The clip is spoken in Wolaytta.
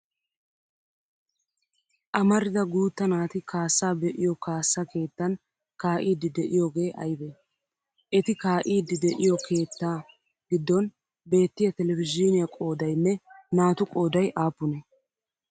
Amarida guutta naati kaassaa be'iyo kaassa keettan kaa'iiddi de'iyoogee aybee? Eti kaa'iiddi de'iyo kettaa giddon beettiya televizhiiniya qoodayinne naatu qooday aappunee?